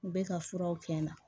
U bɛ ka furaw kɛ n na